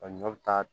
A ɲɔ bɛ taa